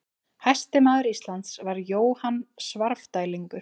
Hæsti maður Íslands var Jóhann Svarfdælingur.